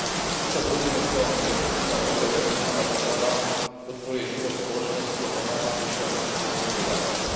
Všetci sa zhodujeme v tom, že efektívna dobre organizovaná doprava podporuje život v spoločnosti a pomáha zvyšovať výkonnosť hospodárstva.